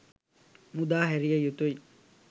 මුදා හැරිය යුතුයි